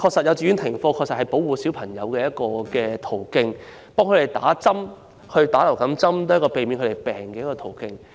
幼稚園停課是保護小朋友的一個途徑，讓他們接種流感疫苗，也是避免他們生病的一個途徑。